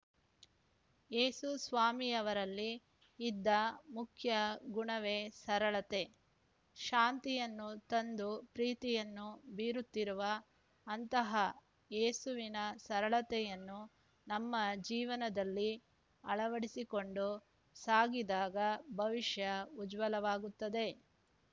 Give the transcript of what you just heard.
ಏಸು ಸ್ವಾಮಿಯವರಲ್ಲಿ ಇದ್ದ ಮುಖ್ಯ ಗುಣವೇ ಸರಳತೆ ಶಾಂತಿಯನ್ನು ತಂದು ಪ್ರೀತಿಯನ್ನು ಬೀರುತ್ತಿರುವ ಅಂತಹ ಏಸುವಿನ ಸರಳತೆಯನ್ನು ನಮ್ಮ ಜೀವನದಲ್ಲಿ ಅಳವಡಿಸಿಕೊಂಡು ಸಾಗಿದಾಗ ಭವಿಷ್ಯ ಉಜ್ವಲವಾಗುತ್ತದೆ